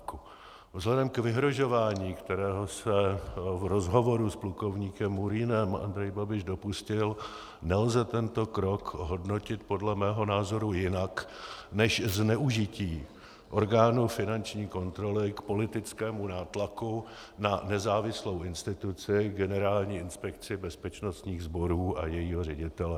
Vzhledem k vyhrožování, kterého se v rozhovoru s plukovníkem Murínem Andrej Babiš dopustil, nelze tento krok hodnotit podle mého názoru jinak než zneužití orgánu finanční kontroly k politickému nátlaku na nezávislou instituci, Generální inspekci bezpečnostních sborů a jejího ředitele.